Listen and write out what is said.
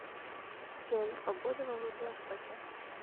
джой погода во владивостоке